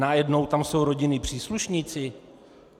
Najednou tam jsou rodinní příslušníci?